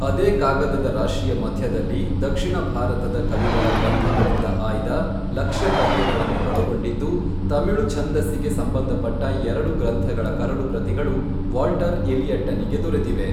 ಅದೇ ಕಾಗದದ ರಾಶಿಯ ಮಧ್ಯದಲ್ಲಿ ದಕ್ಷಿಣಭಾರತದ ಕವಿಗಳ ಗ್ರಂಥಗಳಿಂದ ಆಯ್ದ ಲಕ್ಷ್ಯ ಪದ್ಯಗಳನ್ನು ಒಳಗೊಂಡಿದ್ದು ತಮಿಳು ಛಂದಸ್ಸಿಗೆ ಸಂಬಂಧಪಟ್ಟ ಎರಡು ಗ್ರಂಥಗಳ ಕರಡು ಪ್ರತಿಗಳು ವಾಲ್ಟರ್ ಎಲಿಯಟ್ಟನಿಗೆ ದೊರೆತಿವೆ.